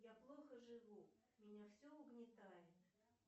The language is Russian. я плохо живу меня все угнетает